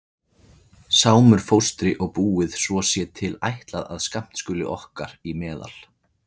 Sámur fóstri og búið svo sé til ætlað að skammt skuli okkar í meðal.